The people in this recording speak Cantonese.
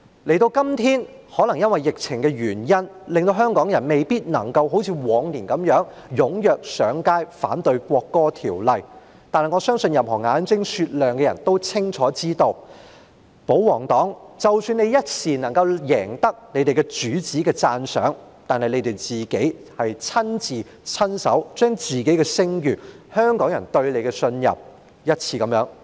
時至今日，可能由於疫情的原因，令香港人未必能夠像以往般踴躍上街，反對《條例草案》，但我相信任何眼睛雪亮的人都清楚知道，即使保皇黨這一刻能夠贏得他們主子的讚賞，但他們卻是一次又一次地，親手摧毀自己的聲譽，以及香港人對他們的信任。